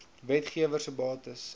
wetgewer se bates